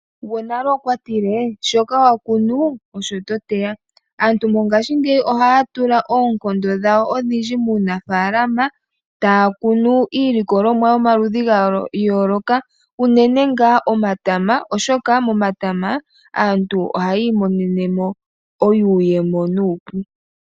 Gwonale okwa tile ,shoka wakuna osho toteya. Aantu mongashingeyi ohaa tula oonkondo dhawo odhindji muunafaalama, taa kunu iilikolomwa yomaludhi gayooloka unene ngaa omatama oshoka momata aantu ohaa imonenemo iiyemo